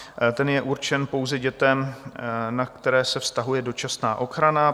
Ten je určen pouze dětem, na které se vztahuje dočasná ochrana.